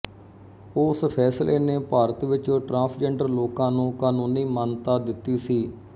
ਉਸ ਫ਼ੈਸਲੇ ਨੇ ਭਾਰਤ ਵਿੱਚ ਟਰਾਂਸਜੈਂਡਰ ਲੋਕਾਂ ਨੂੰ ਕਾਨੂੰਨੀ ਮਾਨਤਾ ਦਿੱਤੀ ਸੀ